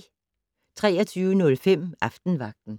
23:05: Aftenvagten